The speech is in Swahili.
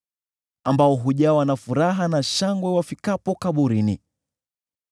ambao hujawa na furaha, na hushangilia wafikapo kaburini?